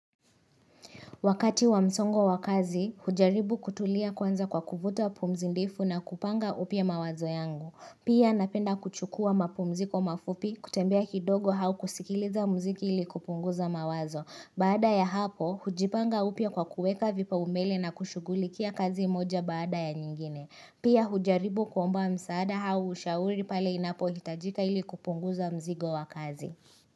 Wakati wa msongo wakazi, hujaribu kutulia kwanza kwa kufuta pumzindifu na kupanga upie mawazo yangu. Pia napenda kuchukua mapumziko mafupi kutembea kidogo hau kusikiliza mziki ili kupunguza mawazo. Baada ya hapo, hujipanga upia kwa kueka vipa umele na kushugulikia kazi moja baada ya nyingine. Pia hujaribu kuomba msaada hau ushauri pale inapo hitajika ili kupunguza mzigo wakazi.